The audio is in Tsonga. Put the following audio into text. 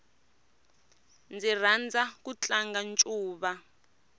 ndzi rhandza ku tlanga ncuva